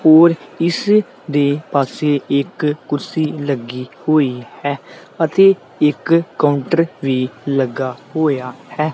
ਹੋਰ ਇੱਸ ਦੇ ਪਾੱਸੇ ਇੱਕ ਕੁਰਸੀ ਲੱਗੀ ਹੋਈ ਹੈ ਅਤੇ ਇੱਕ ਕਾਉੰਟਰ ਵੀ ਲੱਗਾ ਹੋਇਆ ਹੈ।